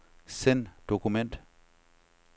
Send dokument.